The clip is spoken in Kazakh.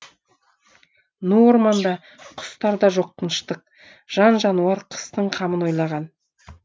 ну орманда құстар да жоқ тыныштық жан жануар қыстың қамын ойлаған